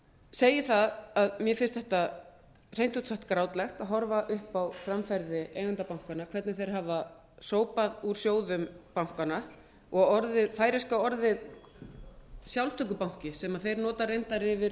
segi það að mér finnst þetta hreint út sagt grátlegt að horfa upp á framferði eigenda bankanna hvernig þeir hafa sópað úr sjóðum bankanna og orðið færeyska orðið sjálftökubanki sem þeir nota reyndar yfir